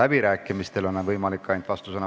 Vastusõnavõtt on võimalik ainult läbirääkimistel.